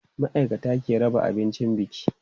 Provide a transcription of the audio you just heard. Ma'aikata ke raba abincin biki.